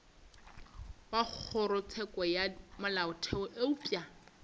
wa kgorotsheko ya molaotheo eupša